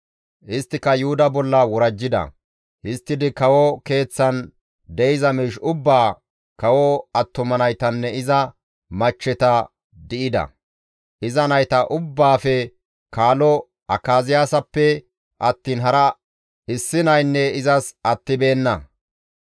Isttika Yuhuda bolla worajjida; histtidi kawo keeththan de7iza miish ubbaa, kawo attuma naytanne iza machcheta di7ida; iza nayta ubbaafe kaalo Akaziyaasappe attiin hara issi naykka izas attibeenna.